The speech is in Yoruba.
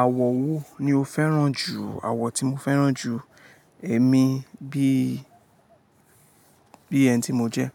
Àwọ̀ wo ni o fẹ́ràn jù? Àwọ̀ tí mo fẹ́ràn jù, èmi bí, bí ẹni tí mo jẹ́,